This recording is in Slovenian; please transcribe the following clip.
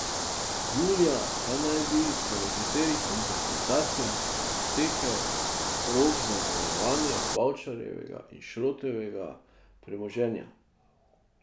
Julija pa naj bi po nekaterih interpretacijah potekel rok za zavarovanje Bavčarjevega in Šrotovega premoženja.